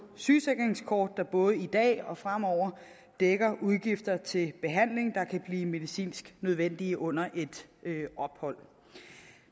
sygesikringskort der både i dag og fremover dækker udgifter til behandling der kan blive medicinsk nødvendig under et ophold